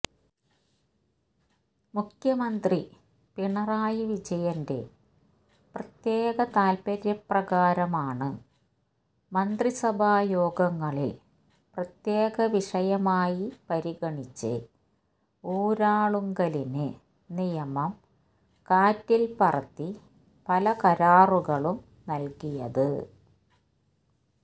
മുഖ്യമന്ത്രി പിണറായി വിജയന്റെ പ്രത്യേക താല്പര്യപ്രകാരമാണ് മന്ത്രിസഭായോഗങ്ങളില് പ്രത്യേക വിഷയമായി പരിഗണിച്ച് ഊരാളുങ്കലിന് നിയമം കാറ്റില്പ്പറത്തി പല കരാറുകളും നല്കിയത്